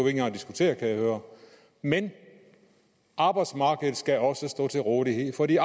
engang at diskutere kan jeg høre men arbejdsmarkedet skal også stå til rådighed for de